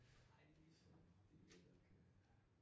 Dejlig sol det jo det der kan